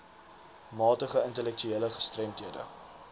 matige intellektuele gestremdhede